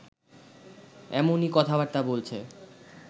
এমনি কথাবার্তা বলছে